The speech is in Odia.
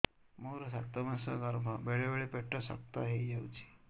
ମୋର ସାତ ମାସ ଗର୍ଭ ବେଳେ ବେଳେ ପେଟ ଶକ୍ତ ହେଇଯାଉଛି